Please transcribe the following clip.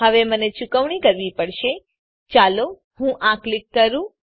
હવે મને ચુકવણી કરવી પડશે ચાલો હું આ ક્લિક કરું